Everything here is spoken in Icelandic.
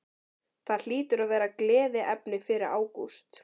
Það hlýtur að vera gleðiefni fyrir Ágúst?